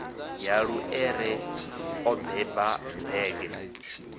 ya luṱere o beba bege